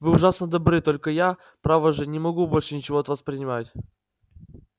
вы ужасно добры только я право же не могу больше ничего от вас принимать